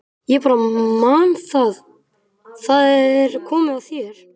Ég bara man það- það er komið að þér.